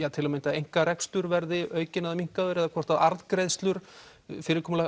að til að mynda einkarekstur verði aukinn eða minnkaður eða hvort arðgreiðslur fyrirkomulag